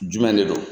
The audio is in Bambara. Jumɛn de don